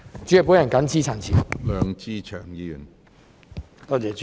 主席，我謹此陳辭。